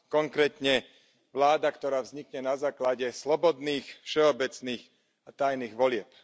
Konkrétne, vláda, ktorá vznikne na základe slobodných, všeobecných a tajných volieb.